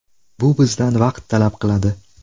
Bu bizdan vaqt talab qiladi.